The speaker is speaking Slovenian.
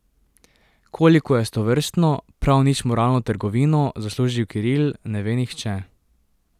Koliko je s tovrstno, prav nič moralno trgovino zaslužil Kiril, ne ve nihče.